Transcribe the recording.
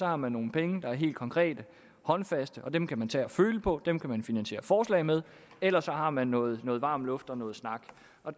har man nogle penge der er helt konkrete håndfaste og dem kan man tage og føle på dem kan man finansiere forslag med eller også har man noget noget varm luft og noget snak